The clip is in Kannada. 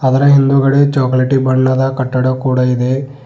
ಅದರ ಹಿಂದುಗಡೆ ಚಾಕಲೇಟಿ ಬಣ್ಣದ ಕಟ್ಟಡ ಕೂಡ ಇದೆ.